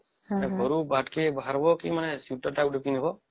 ଘରୁ ଭାରକୁ ବାହାରିବା କେ ଶୀତ ତା ଏମିତି ହବ